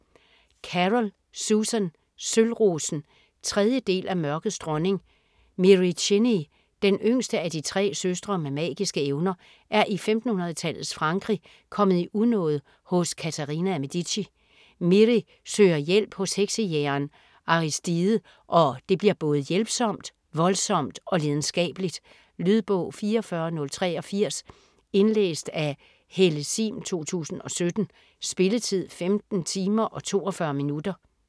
Carroll, Susan: Sølvrosen 3. del af Mørkets Dronning. Miri Cheney - den yngste af de tre søstre med magiske evner - er i 1500-tallets Frankrig kommet i unåde hos Katharina af Medici. Miri søger hjælp hos heksejægeren Aristide, og det bliver både hjælpsomt, voldsomt og lidenskabeligt. Lydbog 44083 Indlæst af Helle Sihm, 2017. Spilletid: 15 timer, 42 minutter.